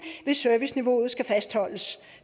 hvis serviceniveauet skal fastholdes